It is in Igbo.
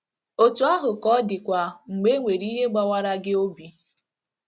Otu ahụ ka ọ dịkwa mgbe e nwere ihe gbawara gị obi.